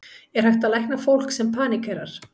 Er hægt að lækna fólk sem paníkerar?